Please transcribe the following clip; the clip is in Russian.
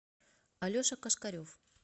алеша кошкарев